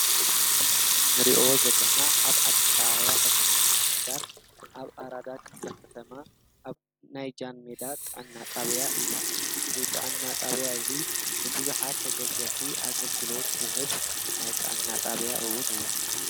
እዚ እንርእዮ ዘለና ኣብ ኣዲስ ኣበባ ከተማ ምምሕዳር ኣብ ኣራዳ ክፍለ ከተማ ኣብ ናይ ጃንሜዳ ጥዕና ጣብያ እዩ፡፡ እዚ ጥዕና ጣበያ እዚ ንቡዙሓት ተገልገልቲ ኣገልግሎት ዝህብ ናይ ጥዕና ጣብያ እዉን እዩ፡፡